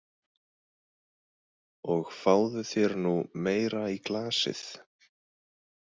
Og fáðu þér nú meira í glasið.